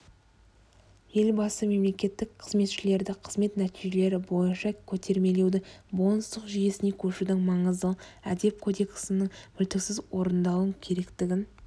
елбасы мемлекеттік қызметшілерді қызмет нәтижелері бойынша көтермелеудің бонустық жүйесіне көшудің маңыздылығын әдеп кодексінің мүлтіксіз орындалу керектігін